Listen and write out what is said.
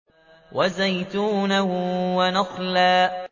وَزَيْتُونًا وَنَخْلًا